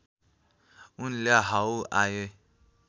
उनले हाउ आय